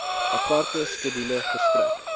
aparte skedule verstrek